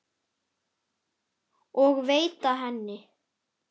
og veita henni.